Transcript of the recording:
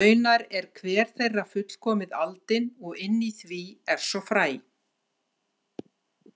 Raunar er hver þeirra fullkomið aldin og inni í því er svo fræ.